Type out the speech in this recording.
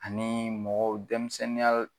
Ani mɔgɔw denmisɛnninya